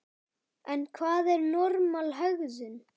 En hvað er normal hegðun?